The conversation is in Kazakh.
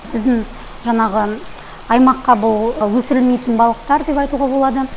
біздің жаңағы аймаққа бұл өсірілмейтін балықтар деп айтуға болады